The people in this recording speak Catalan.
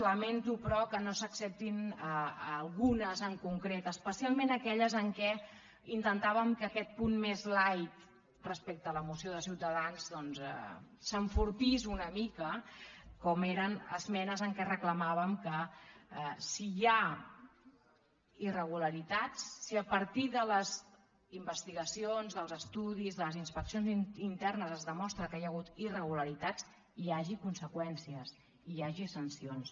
lamento però que no se n’acceptin algunes en concret especialment aquelles en què intentàvem que aquest punt més lights’enfortís una mica com eren esmenes en què reclamàvem que si hi ha irregularitats si a partir de les investigacions dels estudis de les inspeccions internes es demostra que hi ha hagut irregularitats hi hagi conseqüències i hi hagi sancions